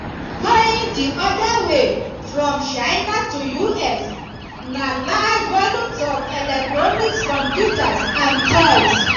going di oda way from china to us na large volumes of electronics computers and toys.